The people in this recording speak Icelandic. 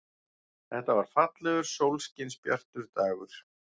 Þetta var fallegur, sólskinsbjartur dagur.